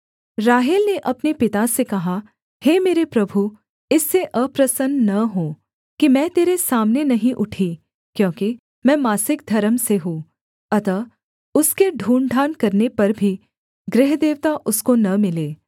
राहेल ने अपने पिता से कहा हे मेरे प्रभु इससे अप्रसन्न न हो कि मैं तेरे सामने नहीं उठी क्योंकि मैं मासिक धर्म से हूँ अतः उसके ढूँढ़ढाँढ़ करने पर भी गृहदेवता उसको न मिले